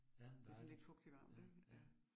Ja dejligt, ja, ja